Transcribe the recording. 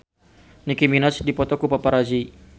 Nicky Minaj dipoto ku paparazi